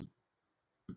Er langt í æfingasvæðið?